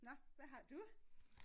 Nåh hvad har du?